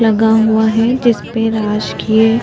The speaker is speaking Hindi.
लगा हुआ है जिसपे राजकीय --